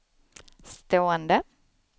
stående